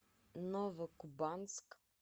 новокубанск